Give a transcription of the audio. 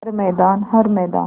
हर मैदान हर मैदान